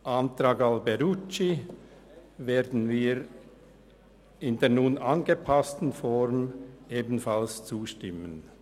Dem Antrag Alberucci werden wir in der nun angepassten Form ebenfalls zustimmen.